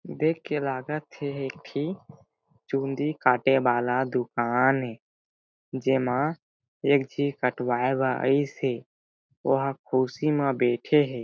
देख के लागत हे एह एक ठी चुंदी काटे वाला दुकान ए जेमा एक झी कटवाए बर आई से ओ ह खुर्सी म बेठिस हे।